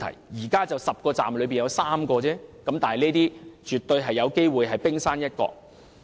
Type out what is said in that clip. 現時已知道10個車站中有3個出現問題，但這些絕對有機會只是冰山一角。